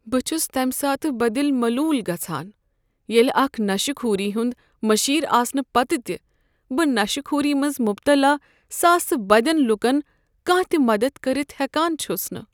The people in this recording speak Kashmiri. بہٕ چھُس تمہ ساتہٕ بدِل ملوٗل گژھان ییٚلہ اکھ نشہٕ خوٗری ہنٛد مٖشیٖر آسنہٕ پتہٕ تہِ بہٕ نشہٕ كھوٗری منٛز مبتلا ساسہٕ بدٮ۪ن لوٗكن کانٛہہ تہ مدتھ كرِتھ ہٮ۪کان چھُس نہٕ۔